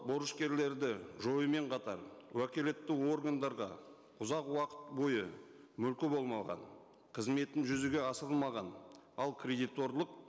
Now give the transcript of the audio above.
борышкерлерді жоюмен қатар уәкілетті органдарға ұзақ уақыт бойы мүлкі болмаған қызметі жүзеге асырылмаған ал кредиторлық